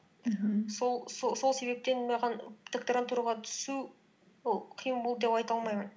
мхм сол себептен маған докторантураға түсу ол қиын болды деп айта алмаймын